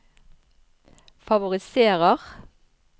favoriserer